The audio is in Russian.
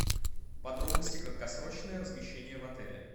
подробности краткосрочное размещение в отеле